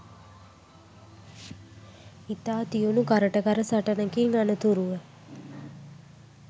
ඉතා තියුණු කරට කර සටනකින් අනතුරුව